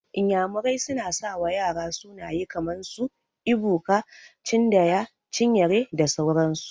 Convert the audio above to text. Iyamurai suna sawa ƴara sunaye kaman su, Ebuka, Chindaya, Chinyere da sauran su.